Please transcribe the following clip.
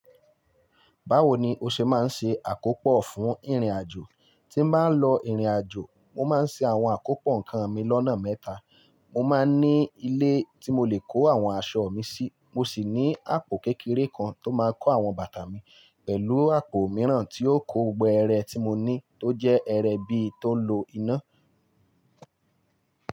Báwo ni o ṣe máa ń ṣe àkópò fún ìrìnàjò? Tí mo bá ń lọ ìrìnàjò, mo máa ń ṣe àwọn àkópọ̀ nǹkan mi lọ́nà mẹ́ta. Mo máa ń ní ilé tí mo lè kó àwọn aṣọ mi sí. Mo sì ní àpò kékeré kan tó máa ń kó àwọn bàtà mi, pẹ̀lú àpò mìíràn tí ó kó gbogbo ẹ̀rẹ̀ tí mo ní, tó jẹ́ ẹ̀rẹ̀ bí tó ń lo iná.